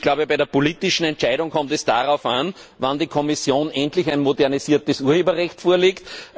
Ich glaube, bei einer politischen Entscheidung kommt es darauf an, wann die Kommission endlich ein modernisiertes Urheberrecht vorlegt.